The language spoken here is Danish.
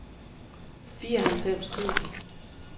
fireoghalvfems tusind